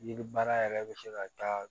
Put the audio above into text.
Yiri baara yɛrɛ bɛ se ka taa